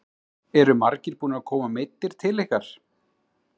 Eru margir búnir að koma meiddir til ykkar?